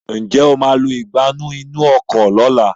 njé o má lọ Ìgbánú inú ọkọ̀ lọ̀la?